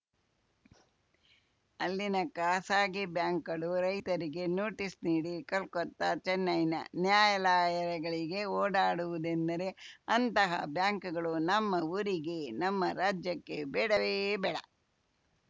ಅಲ್ಲಿನ ಖಾಸಗಿ ಬ್ಯಾಂಕ್‌ಗಳು ರೈತರಿಗೆ ನೋಟಿಸ್‌ ನೀಡಿ ಕೊಲ್ಕತ್ತಾ ಚೆನ್ನೈನ ನ್ಯಾಯಲಾಯಗಳಿಗೆ ಓಡಾಡಿಸುವುದೆಂದರೆ ಅಂತಹ ಬ್ಯಾಂಕ್‌ಗಳು ನಮ್ಮ ಊರಿಗೆ ನಮ್ಮ ರಾಜ್ಯಕ್ಕೆ ಬೇಡವೇ ಬೇಡ